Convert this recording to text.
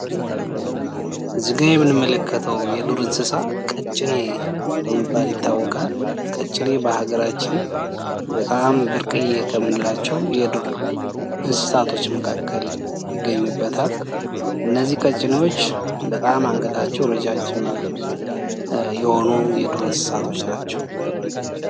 እዚ ላይ የምንመለከተው የዱር እንስሳ ቀጭኔ በመባል ይታወቃል። ቀጭኔ በሀገራችን በጣም ብርቅየ ከምንላቸው የዱር እንስሳቶች መካከል ይገኙበታል ።እነዚህ ቀጭኔዎች በጣም አንገታቸው ረጃጅም የሆኑ የዱር እንስሳቶች ናቸው።